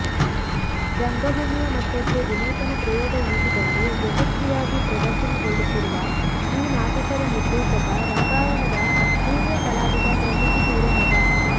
ರಂಗಭೂಮಿಯ ಮಟ್ಟಕ್ಕೆ ವಿನೂತನ ಪ್ರಯೋಗ ಎನಿಸಿಕೊಂಡು ಯಶಸ್ವಿಯಾಗಿ ಪ್ರದರ್ಶನಗೊಳ್ಳುತ್ತಿರುವ ಈ ನಾಟಕದ ನಿರ್ದೇಶಕ ರಂಗಾಯಣದ ಹಿರಿಯ ಕಲಾವಿದ ಪ್ರಶಾಂತ ಹಿರೇಮಠ